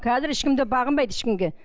қазір ешкім де бағынбайды ешкімге